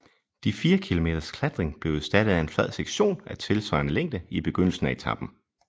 De fire kilometers klatring blev erstattet af en flad sektion af tilsvarende længde i begyndelsen af etapen